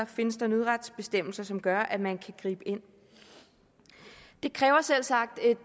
findes der nødretsbestemmelser som gør at man kan gribe ind det kræver selvsagt et